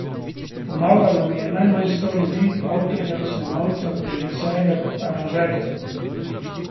Pomagalo mi je najmanj sto ljudi, avtorjev, snemalcev, režiserjev, aranžerjev.